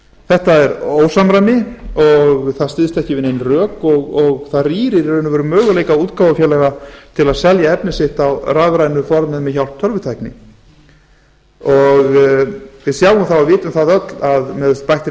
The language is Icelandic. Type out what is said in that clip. þetta er ósamræmi og það styðst ekki við nein rök og það rýrir í raun og veru möguleika útgáfufélaga til að selja efni sitt á rafrænu formi með hjálp tölvutækni við sjáum það og vitum það öll að með bættri